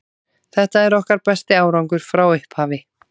Þetta er okkar besti árangur frá upphafi.